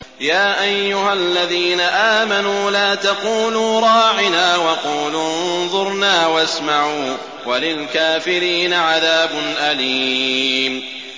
يَا أَيُّهَا الَّذِينَ آمَنُوا لَا تَقُولُوا رَاعِنَا وَقُولُوا انظُرْنَا وَاسْمَعُوا ۗ وَلِلْكَافِرِينَ عَذَابٌ أَلِيمٌ